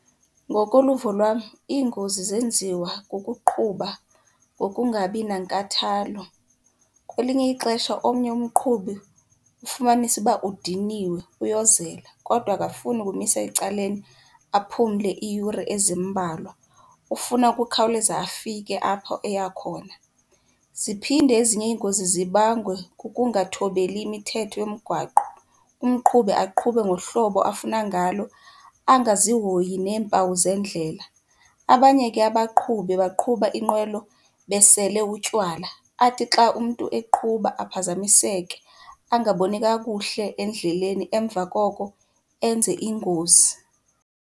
Ngokoluvo lwam iingozi zenziwa kukuqhuba ngokungabi nankathalo, kwelinye ixesha omnye umqhubi ufumanise ukuba udiniwe uyozela kodwa akafuni ukumisa ecaleni aphumle iiyure ezimbalwa, ufuna ukukhawuleza afike apho eya khona. Ziphinde ezinye iingozi zibangwe kukungathobeli imithetho yomgwaqo, umqhubi aqhube ngohlobo afuna ngalo angazihoyi neempawu zeendlela. Abanye ke abaqhubi baqhuba inqwelo besele utywala, athi xa umntu eqhuba aphazamiseke angaboni kakuhle endleleni emva koko enze ingozi.